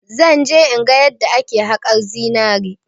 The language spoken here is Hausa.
Zan je in ga yadda ake haƙar zinari.